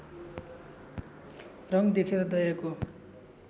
रङ देखेर दयाको